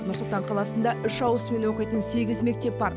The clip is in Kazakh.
нұр сұлтан қаласында үш ауысыммен оқитын сегіз мектеп бар